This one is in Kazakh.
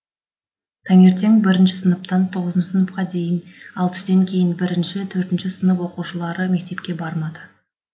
таңертең бірінші сыныптан тоғызыншы сыныпқа дейін ал түстен кейін бірінші төртінші сынып оқушылары мектепке бармады